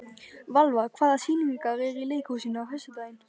Valva, hvaða sýningar eru í leikhúsinu á föstudaginn?